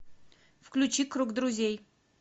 включи круг друзей